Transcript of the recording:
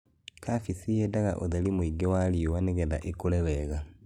Kabeci yendaga ũtheri mwĩingĩ wa riũa negetha ĩkũre wega.